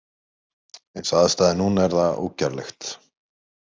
Eins og aðstæður eru núna er það ógerlegt.